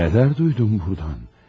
Nə dərd eşitdim buradan.